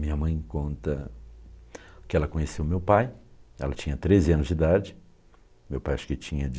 Minha mãe conta que ela conheceu meu pai, ela tinha treze anos de idade, meu pai acho que tinha